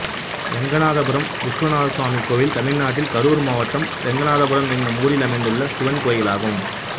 ரெங்கநாதபுரம் விஸ்வநாத சுவாமி கோயில் தமிழ்நாட்டில் கரூர் மாவட்டம் ரெங்கநாதபுரம் என்னும் ஊரில் அமைந்துள்ள சிவன் கோயிலாகும்